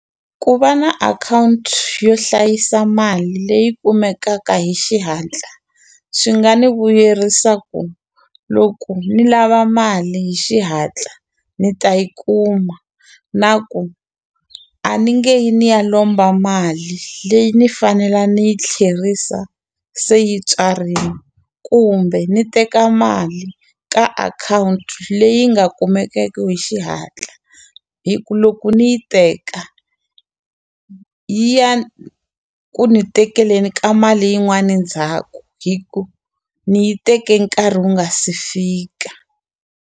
Ku va na akhawunti yo hlayisa mali leyi kumekaka hi xihatla swi nga ni vuyerisa ku loko ni lava mali hi xihatla ni ta yi kuma na ku a ni nge yi ni ya lomba mali leyi ni fanele ni yi tlherisa se yi tswarini kumbe ni teka mali ka akhawunti leyi nga kumekeke hi xihatla hi ku loko ni yi teka yi ya ku ni tekeleni ka mali yin'wani ndzhaku hi ku ni yi teke nkarhi wu nga si fika.